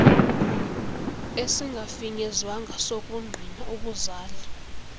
esingafinyezwanga sokungqina ubuzali